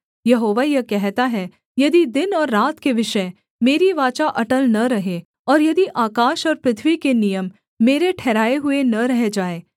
यहोवा यह कहता है यदि दिन और रात के विषय मेरी वाचा अटल न रहे और यदि आकाश और पृथ्वी के नियम मेरे ठहराए हुए न रह जाएँ